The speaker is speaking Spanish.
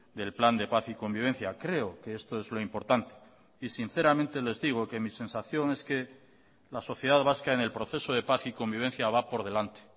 del plan de paz y convivencia creo que esto es lo importante y sinceramente les digo que mi sensación es que la sociedad vasca en el proceso de paz y convivencia va por delante